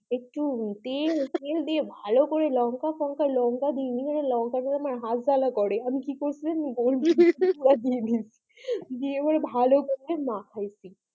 একটু তেল ফেল দিয়ে ভালো করে লঙ্কা-ফাঙ্ক দিয়ে ওই লঙ্কা দেইনি লঙ্কাতে আমার হাত জ্বালা করে আমি কি করেছি দিয়ে দিয়েছি দিয়ে একবারে ভালো করে মাখাইছি।